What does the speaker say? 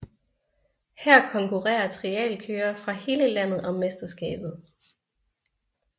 Her konkurrerer trialkørere fra hele landet om mesterskabet